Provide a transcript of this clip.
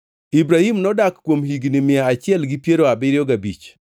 Ibrahim nodak kuom higni mia achiel gi piero abiriyo gabich